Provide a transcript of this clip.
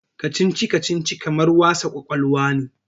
Kacici-kacici kamar wasa ƙwaƙwalwa ne.